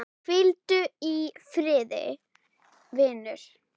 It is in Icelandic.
Hvíldu í friði, vinur.